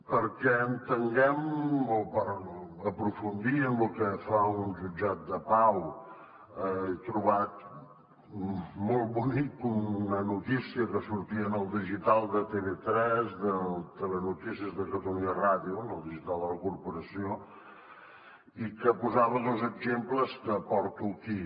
perquè entenguem o per aprofundir en lo que fa un jutjat de pau he trobat molt bonica una notícia que sortia en el digital de tv3 del telenotícies de catalunya ràdio en el digital de la corporació que posava dos exemples que porto aquí